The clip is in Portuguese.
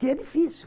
Que é difícil.